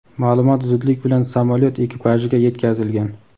ma’lumot zudlik bilan samolyot ekipajiga yetkazilgan.